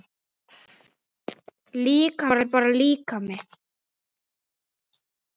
Líkami er bara líkami.